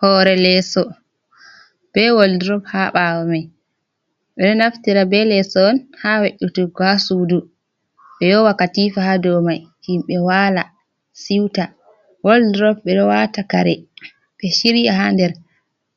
Hore leeso be wal drop ha ɓawo mai, ɓeɗo naftira be leso on ha we'utugo ha sudu ɓe yowa katifa ha dou mai himɓe wala siuta, wal drop ɓeɗo wata kare be shiriya ha nder